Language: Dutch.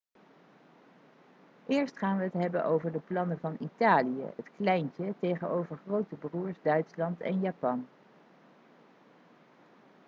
eerst gaan we het hebben over de plannen van italië het kleintje tegenover grote broers' duitsland en japan